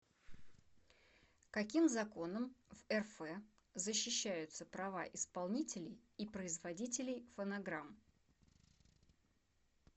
каким законом в рф защищаются права исполнителей и производителей фонограмм